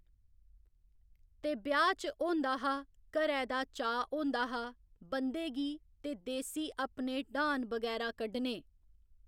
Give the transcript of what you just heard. ते ब्याह्‌ च होंदा हा घरै दा चाऽ होंदा हा बंदे गी ते देसी अपने ड्हान बगैरा कड्ढने